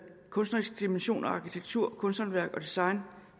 kunstneriske dimension af arkitektur kunsthåndværk og design